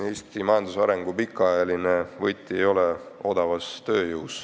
Eesti majandusarengu kaua kasutatav võti ei ole odav tööjõud.